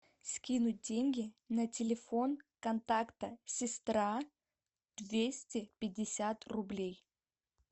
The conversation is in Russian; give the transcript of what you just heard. скинуть деньги на телефон контакта сестра двести пятьдесят рублей